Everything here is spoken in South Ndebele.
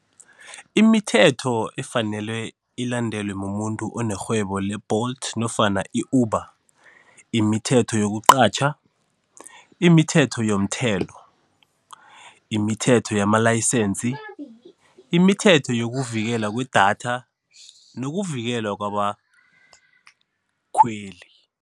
Imithetho efanelwe ilandelwe mumuntu onerhwebo le-Bolt nofana i-Uber Imithetho yokuqatjha, imithetho yomthelo, imithetho yama-license, imithetho yokuvikelwa kwe-data nokuvikelwa kwabakhweli.